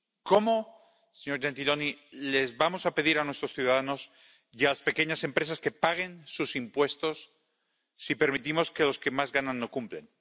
¿Cómo, señor Gentiloni, les vamos a pedir a nuestros ciudadanos y a las pequeñas empresas que paguen sus impuestos, si permitimos que los que más ganan no cumplan?